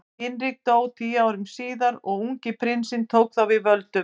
Hinrik dó tíu árum síðar og ungi prinsinn tók þá við völdum.